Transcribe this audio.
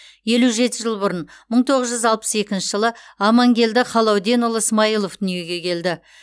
елу жеті жыл бұрын мың тоғыз жүз алпыс екінші жылы амангелді халауденұлы смаилов дүниеге келді